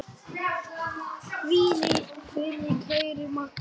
Hvíl í friði kæra Magga.